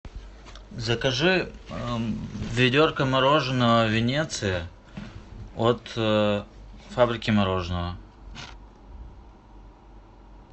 закажи ведерко мороженого венеция от фабрики мороженого